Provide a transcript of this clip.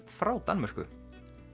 frá Danmörku